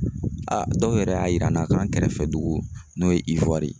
dɔw yɛrɛ y'a yira an na k'an kɛrɛfɛ dugu n'o ye